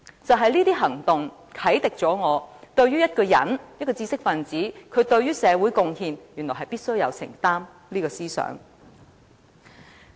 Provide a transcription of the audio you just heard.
就是這些行動，啟迪了我對一個人、一個知識分子必須對社會的貢獻有所承擔這個思想。